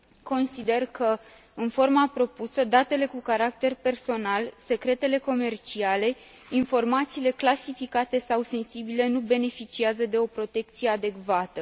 Consider că, în forma propusă, datele cu caracter personal, secretele comerciale, informațiile clasificate sau sensibile nu beneficiază de o protecție adecvată.